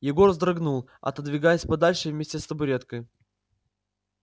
егор вздрогнул отодвигаясь подальше вместе с табуреткой